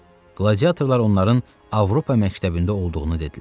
Qladiatorlar onların Avropa məktəbində olduğunu dedilər.